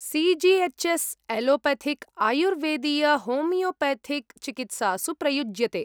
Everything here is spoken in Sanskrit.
C G H S , allopathic आयुर्वेदीयहोमियोपेथिक् चिकित्सासु प्रयुज्यते।